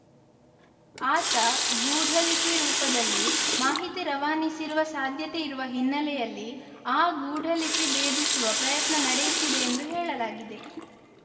ಆತ ಗೂಢಲಿಪಿ ರೂಪದಲ್ಲಿ ಮಾಹಿತಿ ರವಾನಿಸಿರುವ ಸಾಧ್ಯತೆ ಇರುವ ಹಿನ್ನೆಲೆಯಲ್ಲಿ ಆ ಗೂಢ ಲಿಪಿ ಭೇದಿಸುವ ಪ್ರಯತ್ನ ನಡೆಯುತ್ತಿದೆ ಎಂದು ಹೇಳಲಾಗಿದೆ